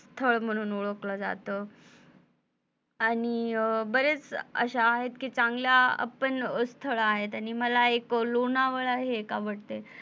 स्थळ म्हणून ओळखलं जात आणि बरेच असे आहेत कि चांगले पण स्थळ आहेत आणि मला एक लोणवळा हे एक आवडत.